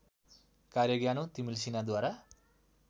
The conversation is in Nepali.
कार्य ज्ञानु तिमल्सिनाद्वारा